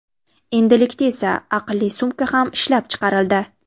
Endilikda esa, aqlli sumka ham ishlab chiqarildi.